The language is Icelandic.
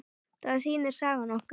Það sýnir sagan okkur.